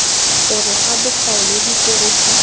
gare ga bokao le tiriso